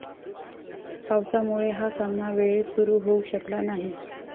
पावसामुळे हा सामना वेळेत सुरू होऊ शकला नाही.